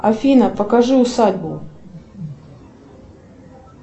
афина покажи усадьбу